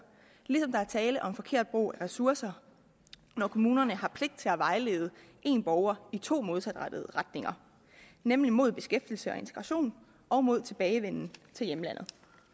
ligesom der er tale om forkert brug af ressourcer når kommunerne har pligt til at vejlede en borger i to modsatrettede retninger nemlig mod beskæftigelse og integration og mod tilbagevenden til hjemlandet